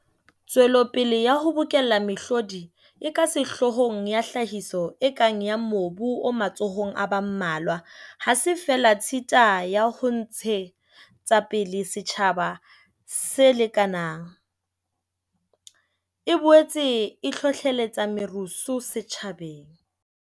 Tswelopele ya ho bokella mehlodi e ka sehloohong ya tlhahiso e kang ya mobu o matsohong a ba mmalwa ha se feela tshita ya ho ntshe tsapele setjhaba se lekanang, e boetse e hlohlelletsa merusu setjhabeng.